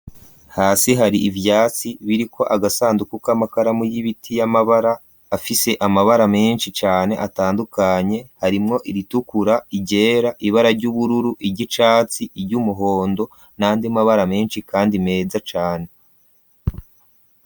Hasi hari ivyatsi biri ko agasanduku k'amakaramu y'ibiti y'amabara afise amabara menshi cane atandukanye harimwo iritukura irera ibara ry'ubururu iryicatsi iryo umuhondo nande mabara menshi, kandi meza cane.